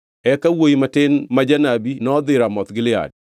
Eka wuowi matin ma janabi nodhi Ramoth Gilead.